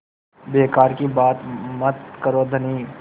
बेकार की बात मत करो धनी